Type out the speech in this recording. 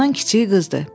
Ondan kiçiyi qızdır.